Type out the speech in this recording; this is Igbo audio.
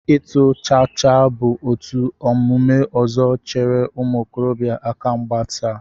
Ịtụ chaachaa bụ otu omume ọzọ chere ụmụ okorobịa aka mgba taa